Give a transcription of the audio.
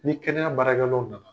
Ni kɛnɛya barakɛlaw nana